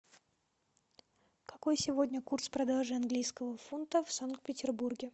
какой сегодня курс продажи английского фунта в санкт петербурге